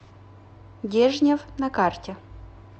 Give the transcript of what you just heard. дежнев на карте